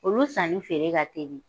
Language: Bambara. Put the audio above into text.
Olu sanni feere ka teli